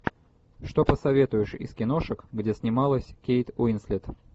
что посоветуешь из киношек где снималась кейт уинслет